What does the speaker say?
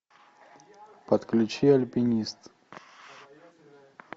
подключи альпинист